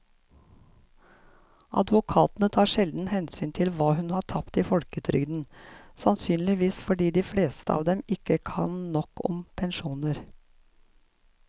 Advokatene tar sjelden hensyn til hva hun har tapt i folketrygden, sannsynligvis fordi de fleste av dem ikke kan nok om pensjoner.